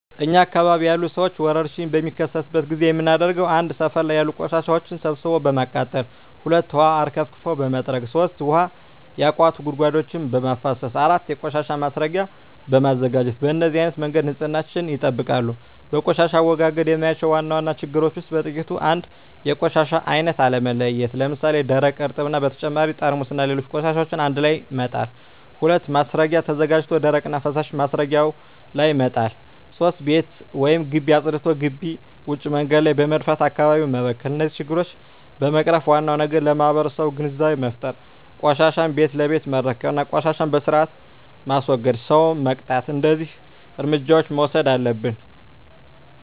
እኛ አካባቢ ያሉ ሠዎች ወርሽኝ በሚከሰትበት ጊዜ የምናደርገው 1. ሠፈር ላይ ያሉ ቆሻሻዎችን ሠብስቦ በማቃጠል 2. ውሀ አርከፍክፎ በመጥረግ 3. ውሀ ያቋቱ ጉድጓዶችን በማፋሠስ 4. የቆሻሻ ማስረጊያ በማዘጋጀት በነዚህ አይነት መንገድ ንፅህናቸውን ይጠብቃሉ። በቆሻሻ አወጋገድ የማያቸው ዋና ዋና ችግሮች ውስጥ በጥቂቱ 1. የቆሻሻ አይነት አለመለየት ለምሣሌ፦ ደረቅ፣ እርጥብ እና በተጨማሪ ጠርሙስና ሌሎች ቆሻሻዎችን አንድላይ መጣል። 2. ማስረጊያ ተዘጋጅቶ ደረቅና ፈሣሽ ማስረጊያው ላይ መጣል። 3. ቤት ወይም ግቢ አፅድቶ ግቢ ውጭ መንገድ ላይ በመድፋት አካባቢውን መበከል ናቸው። እነዚህን ችግሮች ለመቅረፍ ዋናው ነገር ለማህበረሠቡ ግንዛቤ መፍጠር፤ ቆሻሻን ቤት ለቤት መረከብ እና ቆሻሻን በስርአት የላስወገደን ሠው መቅጣት። እደዚህ እርምጃዎች መውሠድ አለብን።